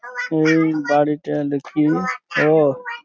ওই গাড়িটা দেখি অ ।